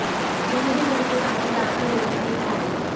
किसी भी घर के सामने जाकर रोटी नहीं खाई